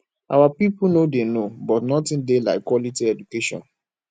our people no dey no but nothing dey like quality education